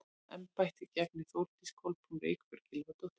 Hvaða embætti gegnir Þórdís Kolbrún Reykfjörð Gylfadóttir?